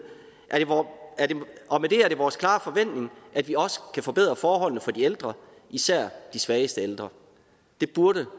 er det vores klare forventning at vi også kan forbedre forholdene for de ældre især de svageste ældre det burde